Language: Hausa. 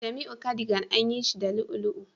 Jamiu cardigan an yi shi da ulu